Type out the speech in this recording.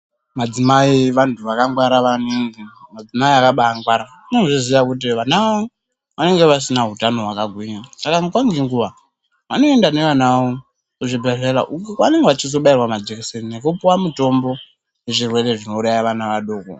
Madzimai vantu vakangwara maningi. Madzimai akabaangwara. Vanozviziya kuti vana vavo, vanenge vasina hutano hwakagwinya, saka nguva nenguva , vanoenda nevana vavo , kuzvibhedhlera uko kwaanenge vachizobaowa majikiseni ,nekupuwa mitombo, yezvirwere zvinouraya vana vadoko.